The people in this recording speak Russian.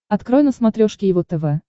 открой на смотрешке его тв